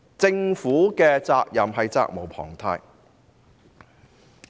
政府是責無旁貸的。